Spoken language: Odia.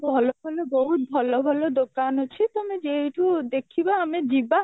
ବହୁତ ଭଲ ଭଲ ଦୋକାନ ଅଛି ଯୋଉଠୁ ଦେଖିବା ଆମେ ଯିବା